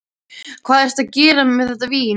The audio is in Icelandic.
Hvað ertu að gera með þetta vín?